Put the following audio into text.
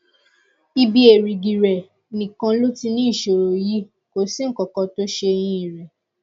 ibi èrìgì rẹ nìkan ló ti ní ìṣòro yìí kò sí nǹkan tó ṣe eyín rẹ